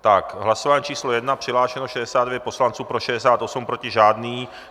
V hlasování číslo 1 přihlášeno 69 poslanců, pro 68, proti žádný.